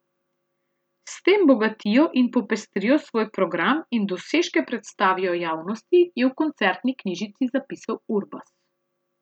S tem bogatijo in popestrijo svoj program in dosežke predstavijo javnosti, je v koncertni knjižici zapisal Urbas.